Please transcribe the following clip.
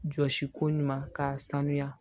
Jɔsi ko ɲuman k'a sanuya